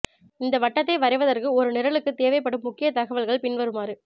இந்த வட்டத்தை வரைவதற்கு ஒரு நிரலுக்குத் தேவைப்படும் முக்கிய தகவல்கள் பின்வருமாறு